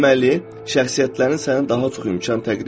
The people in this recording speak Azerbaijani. Deməli, şəxsiyyətlərin səni daha çox imkan təqdim edir.